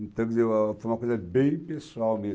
Então, foi uma coisa bem pessoal